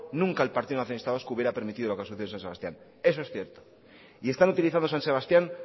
nunca el partido nacionalista vasco hubiera permitido lo que ha sucedido en san sebastián eso es cierto y están utilizando san sebastián